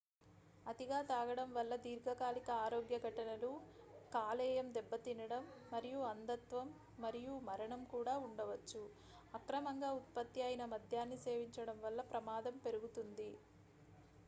అతిగా తాగడం వల్ల దీర్ఘకాలిక ఆరోగ్య ఘటనలు కాలేయం దెబ్బతినడం మరియు అంధత్వం మరియు మరణం కూడా ఉండవచ్చు అక్రమంగా ఉత్పత్తి అయిన మద్యాన్ని సేవించడం వల్ల ప్రమాదం పెరుగుతుంది